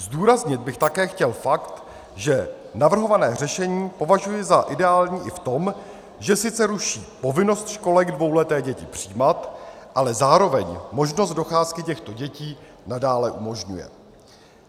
Zdůraznit bych také chtěl fakt, že navrhované řešení považuji za ideální i v tom, že sice ruší povinnost školek dvouleté děti přijímat, ale zároveň možnost docházky těchto dětí nadále umožňuje.